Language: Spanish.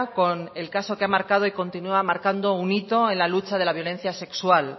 con el caso que ha marcado y continúa marcando un hito en la lucha de la violencia sexual